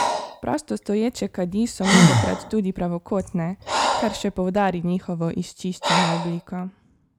Prostostoječe kadi so mnogokrat tudi pravokotne, kar še poudari njihovo izčiščeno obliko.